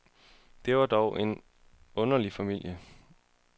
Det var dog en ordentlig familie.